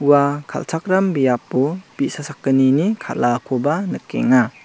ua kal·chakram biapo bi·sa sakgnini kal·akoba nikenga.